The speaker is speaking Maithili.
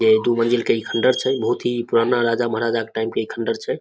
यै दू मंजिल के ई खण्डर छे बहुत ही पुराना राजा-महाराजा क टाइम क इ खण्डार छै।